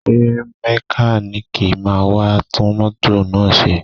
Ṣé mẹkáníìkì máa wá tún mọ́tò náà ṣe?